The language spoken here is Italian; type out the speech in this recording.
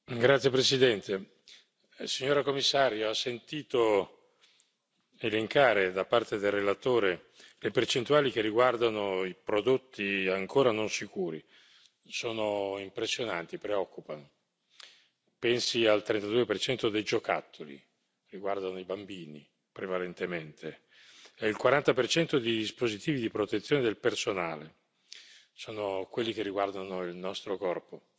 Signor Presidente, onorevoli colleghi, signora Commissario, ha sentito elencare da parte del relatore le percentuali che riguardano i prodotti ancora non sicuri. Sono impressionanti, preoccupano. Pensi al 32 dei giocattoli, riguardano i bambini, prevalentemente, e il 40 dei dispositivi di protezione del personale, sono quelli che riguardano il nostro corpo.